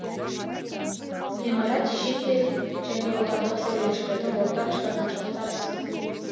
ғимарат шетел және отандық сәулетшілердің ортақ шығармашылық табысы